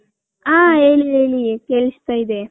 ಹ ಹೇಳಿ ಹೇಳಿ ಕೆಲಸ್ತೈದೆ .